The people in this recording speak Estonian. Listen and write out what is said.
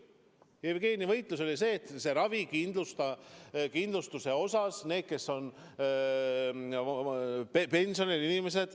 Jevgeni võitlus oli see, et pensionil inimeste ravikindlustuse kataks riik.